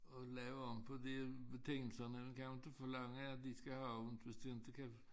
At lave om på de betingelserne man kan jo inte forlange de skal have åbent hvis de inte kan